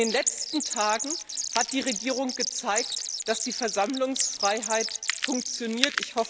In den letzten Tagen hat die Regierung gezeigt, dass die Versammlungsfreiheit funktioniert.